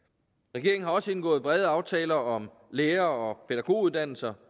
regeringen har også indgået brede aftaler om lærer og pædagoguddannelser